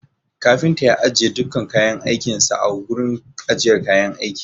Kafinta ya ajiye dukkan kayan aikin sa a gurin ajiyar kayan aiki.